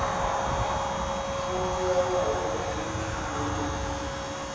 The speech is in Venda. fulufhelo a uri thundu na